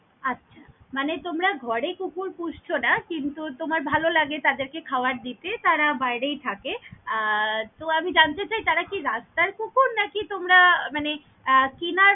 আছা! মানে তোমরা ঘরে কুকুর পুষছ না, কিন্তু তোমার ভালো লাগে তাদেরকে খাবার দিতে তারা বাইরেই থাকে, আহ তো আমি জানতে চাই তারা কি রাস্তার কুকুর নাকি তোমরা মানে আহ কেনার।